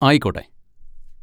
ആയിക്കോട്ടെ!